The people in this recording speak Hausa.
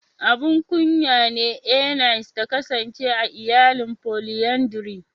Abun kunya ne Eunice ta kasance a iyalan "Polyandry".